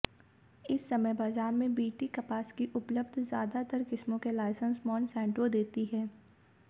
इस समय बाजार में बीटी कपास की उपलब्ध ज्यादातर किस्मों के लाइसेंस मोनसैंटो देती है